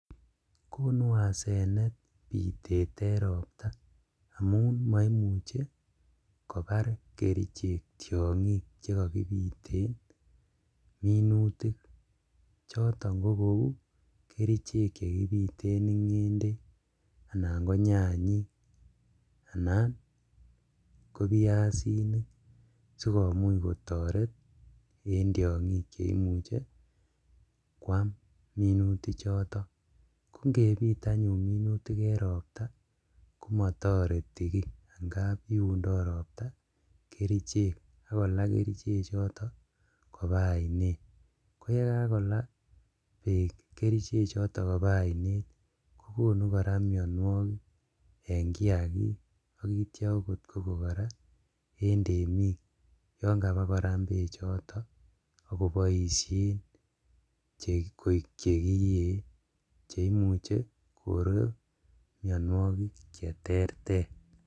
Konu asenet bitet en ropta amun moimuche kobar kerichek tiongik chekokibiten minutik, choton kokou ketichek chekibiten ingendek anan konyanyik anan kobiasinik sikomuch kotoret en tiongik cheimuche kwaam minutichoton, ko ingebit anyun minutik en ropta komotoreti kii angap iundoo ropta kerichek ak kolaa kerichechoto kobaa oinet ,koyegakola beek kerichechoto kobaa oinet kokonu koraa minuokik en kiagik ak itio kogo koraa ot en temik yon kaba koraam bechoto ok koboosien koik chekiyee cheimuche koree mionuokik cheterter.